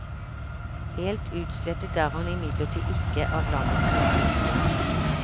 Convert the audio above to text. Helt utslettet er han imidlertid ikke av landets historie.